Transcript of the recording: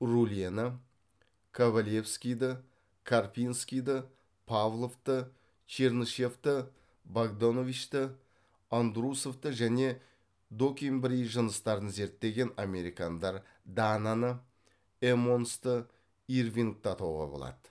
рульені ковалевскийді карпинскийді павловты чернышевты богдановичті андрусовты және докембрий жыныстарын зерттеген американдар дананы эммонсты ирвингті атауға болады